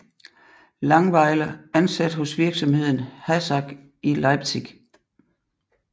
Langweiler ansat hos virksomheden HASAG i Leipzig